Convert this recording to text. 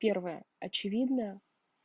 первое очевидно